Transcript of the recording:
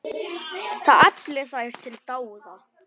Það efli þær til dáða.